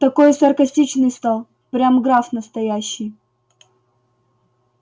такой саркастичный стал прям граф настоящий